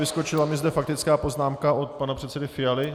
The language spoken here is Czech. Vyskočila mi zde faktická poznámka od pana předsedy Fialy.